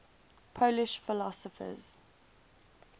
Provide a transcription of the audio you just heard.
polish philosophers